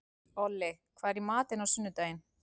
Olli, hvað er í matinn á sunnudaginn?